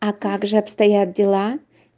а также обстоят дела